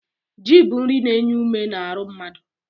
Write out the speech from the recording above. Ji bụ nri na-enye ume n'aru mmadụ.